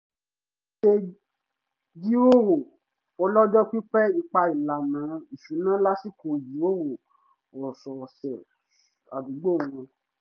wọ́n ṣe jíròrò ọlọ́jọ́ pípẹ́ ipá ìlànà ìṣúná lásìkò ìjíròrò ọ̀sọ̀ọ̀sẹ̀ àdúgbò wọn